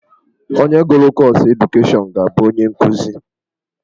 Onye gụrụ kọọsụ edukeshọnụ ga-abụ onye nkuzi.